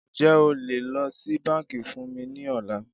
Ǹjẹ́ o lè lọ sí bánkì fún mí ní ọ̀la?